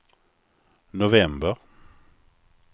november